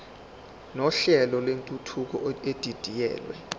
nohlelo lwentuthuko edidiyelwe